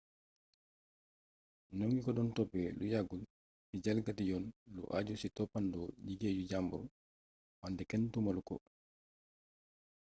ñoŋi ko doon toppë lu yàggul ci jalgati yoon lu ajju ci toppandoo liggéeyu jambur wante kenn tuumalu ko